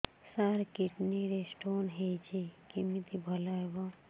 ସାର kidney ରେ stone ହେଇଛି କମିତି ଭଲ ହେବ